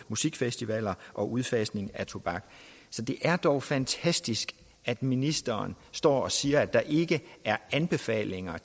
musikfestivaler og udfasning af tobak så det er dog fantastisk at ministeren står og siger at der ikke er anbefalinger